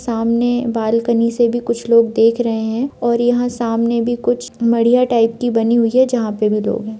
सामने बालकनी से भी कुछ लोग देख रहे है और यहाँ सामने भी कूछ मरिया टाइप की बनी हुई है जहाँ पर भी लोग है।